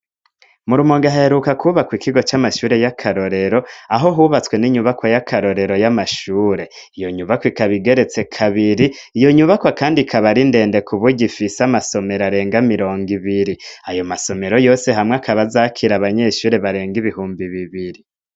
Mur umugaheruka kwubakwa ikigo c'amashure y'akarorero aho hubatswe n'inyubakwa y'akarorero y'amashure iyo nyubakwa ikabigeretse kabiri iyo nyubakwa, kandi kabara indende ku buya ifise amasomero arenga mirongo ibiri ayo masomero yose hamwe akabazakira abanyeshuri barenga ibihumbi bibiri.